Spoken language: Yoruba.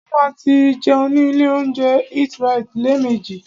Mo ma tí jẹun ní ilé óúnjẹ EatRite lẹ́ẹ̀mejì.